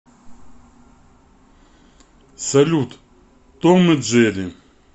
салют том и джерри